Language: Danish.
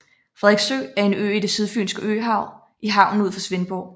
Frederiksø er en ø i det Sydfynske Øhav i havnen ud for Svendborg